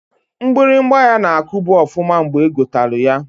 Mgbịrịgba ya na-akubu ọfụma mgbe egotalụ ya.